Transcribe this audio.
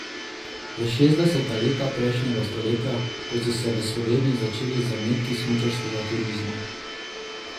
V šestdeseta leta prejšnjega stoletja, ko so se v Sloveniji začeli zametki smučarskega turizma.